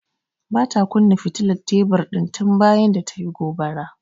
Bata kunna fitilar tebur din tun bayan da tayi gobara.